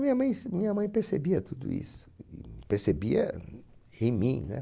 Minha mãe se, minha mãe percebia tudo isso, e percebia em mim, né?